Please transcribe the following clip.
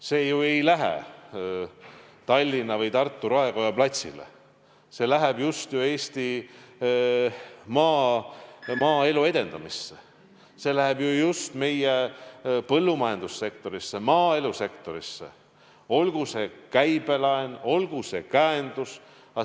See ei lähe ju Tallinna või Tartu raekoja platsile, see läheb just Eesti maaelu edendamisse, see läheb meie põllumajandussektorisse, maaelusektorisse, olgu see käibelaen, olgu see käendus.